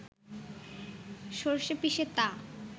সরষে পিষে তা